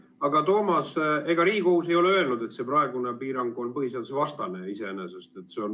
Aga Toomas, ega Riigikohus ei ole öelnud, et see praegune piirang iseenesest on põhiseadusvastane.